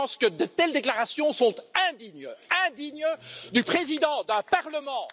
Je pense que de telles déclarations sont indignes, indignes du président d'un parlement!